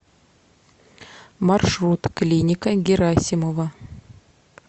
маршрут клиника герасимова